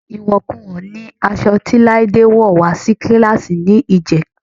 Ìwọ̀kuwọ̀ ni aṣọ tí Láídé wọ́ wà á sí kíláàsì ní ìjẹta